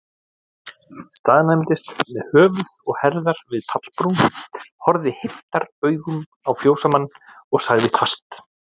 Staðnæmdist með höfuð og herðar við pallbrún, horfði heiftaraugum á fjósamann, og sagði hvasst